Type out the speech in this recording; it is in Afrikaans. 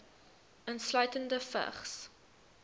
insluitende vigs